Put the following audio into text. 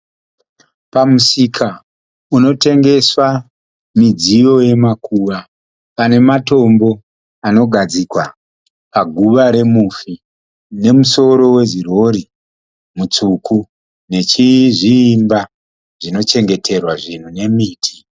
Pamusika unotengeswa midziyo yemakuva. Pane matombo anogadzikwa paguva remufi. Nemusoro wezirhorhi mutsvuku nezviimba zvino chengeterwa zvinhu nemiti.